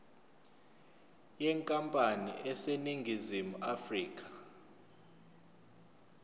yenkampani eseningizimu afrika